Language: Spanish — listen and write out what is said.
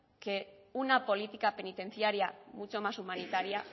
que una política penitenciaria mucho más humanitaria